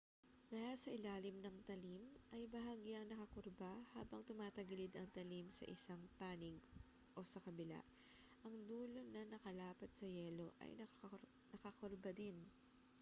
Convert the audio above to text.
dahil ang ilalim ng talim ay bahagyang nakakurba habang tumatagilid ang talim sa isang panig o sa kabila ang dulo na nakalapat sa yelo ay nakakurba din